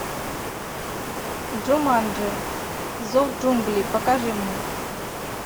джуманджи зов джунглей покажи мне